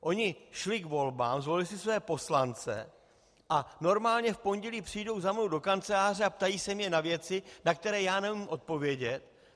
Oni šli k volbám, zvolili si své poslance a normálně v pondělí přijdou za mnou do kanceláře a ptají se mě na věci, na které já neumím odpovědět.